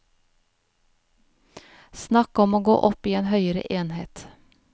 Snakk om å gå opp i en høyere enhet.